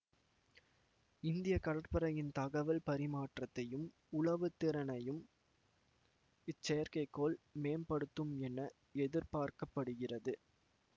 இந்திய கடற்படையின் தகவல் பரிமாற்றத்தையும் உளவு திறனையும் இச்செயற்கை கோள் மேம்படுத்தும் என எதிர்பார்க்க படுகிறது